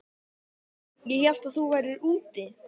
Ég hélt að þú værir úti.